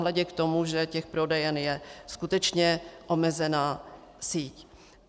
Nehledě k tomu, že těch prodejen je skutečně omezená síť.